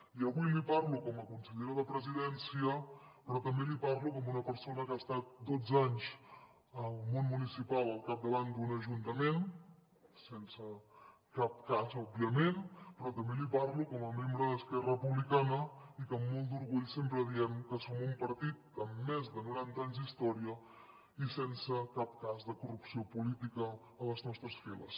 i avui li parlo com a consellera de presidència però també li parlo com una persona que ha estat dotze anys al món municipal al capdavant d’un ajuntament sense cap cas òbviament però també li parlo com a membre d’esquerra republicana i que amb molt d’orgull sempre diem que som un partit amb més de noranta anys d’història i sense cap cas de corrupció política a les nostres files